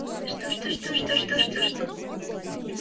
жду жду жду жду жду жду жду